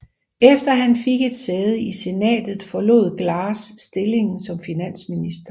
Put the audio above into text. Efter at han fik et sæde i Senatet forlod Glass stillingen som finansminister